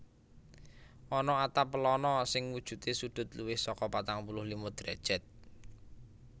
Ana atap pelana sing wujudé sudut luwih saka patang puluh lima derajat